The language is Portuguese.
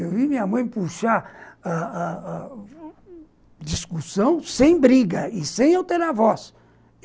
Eu vi minha mãe puxar a a a discussão sem briga e sem alterar a voz.